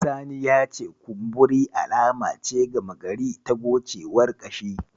Sani ya ce kumburi alama ce gama gari ta gocewar ƙashi.